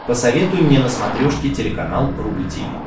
посоветуй мне на смотрешке телеканал рубль ти ви